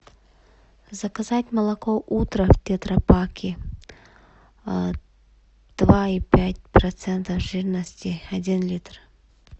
заказать молоко утро в тетрапаке два и пять процента жирности один литр